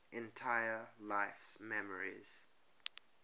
entire life's memories